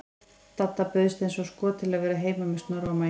Dadda bauðst eins og skot til að vera heima með Snorra og Maju.